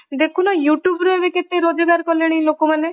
ଦେଖୁନ youtube ରେ କେତେ ରୋଜଗାର କଲେଣି ଲୋକମାନେ।